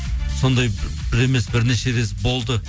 сондай бір емес бірнеше рет болды